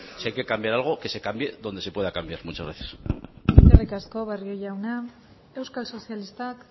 si hay que cambiar algo que se cambie donde se pueda cambiar muchas gracias eskerrik asko barrio jauna euskal sozialistak